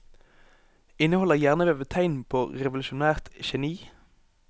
Inneholder hjernevevet tegn på revolusjonært geni?